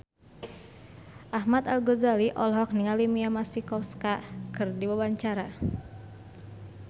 Ahmad Al-Ghazali olohok ningali Mia Masikowska keur diwawancara